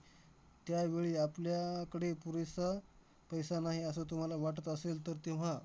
त्यावेळी आपल्या आह कडे पुरेसा पैसा नाही, असं तुम्हाला वाटत असेल तर तेव्हा